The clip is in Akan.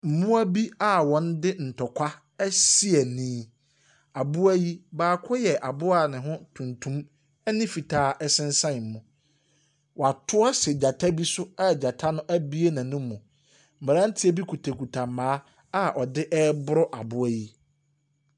Mmoa bi a wɔde ntɔkwa asi ani aboa yi, baako yɛ aboa a ne ho tuntum ne fitaa sensan mu. Wato ahyɛ gyata bi so a gyata no abue n'anum. Mmeranteɛ bi kitakita mmaa a wɔde reboro aboa yi.